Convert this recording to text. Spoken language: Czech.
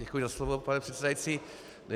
Děkuji za slovo, pane předsedající.